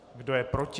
Kdo je proti?